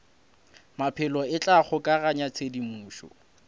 maphelo e tla kgokaganya tshedimošo